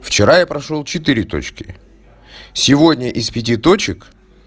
вчера я прошёл четыре точки сегодня из пяти точек